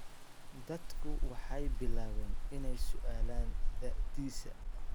Dadku waxay bilaabeen inay su'aalaan da'diisa.